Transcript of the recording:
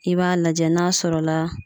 I b'a lajɛ n'a sɔrɔla